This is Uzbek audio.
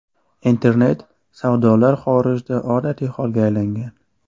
Internet savdolar xorijda odatiy holga aylangan.